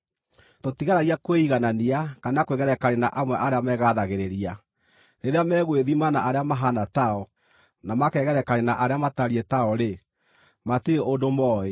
Tũtigeragia kwĩiganania kana kwĩgerekania na amwe arĩa megathagĩrĩria. Rĩrĩa megwĩthima na arĩa mahaana tao, na makegerekania na arĩa matariĩ tao-rĩ, matirĩ ũndũ mooĩ.